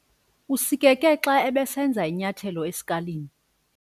Usikeke xa ebesenza inyathelo esikalini.